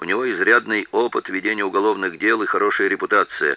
у него изрядный опыт ведения уголовных дел и хорошая репутация